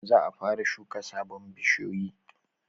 Za a fara shuka sabon bishiyoyi